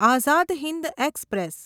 Azad Hind express